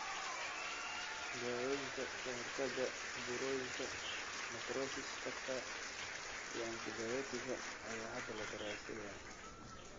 Daawooyinka ka hortagga burooyinka necrosis factor iyo antibiyootiga ayaa hadda la daraaseeyaa.